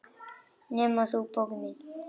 Nema þú, bókin mín.